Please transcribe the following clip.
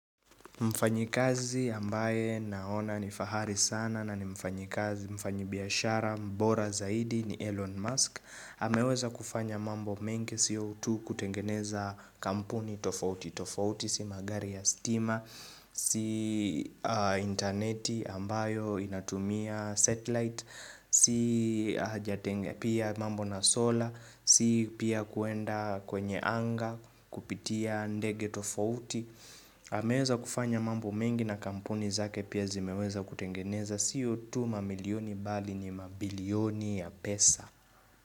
Mfanyakazi ambaye naona ni fahari sana na ni mfanyakazi mfanya biashara mbora zaidi ni Elon Musk. Ameweza kufanya mambo menge siyo kutengeneza kampuni tofauti tofauti si magari ya stima, si interneti ambayo inatumia satellite Si haja pia mambo na solar, si pia kuenda kwenye anga kupitia ndege tofauti. Ameweza kufanya mambo mengi na kampuni zake pia zimeweza kutengeneza siyo tu mamilioni bali ni mabilioni ya pesa.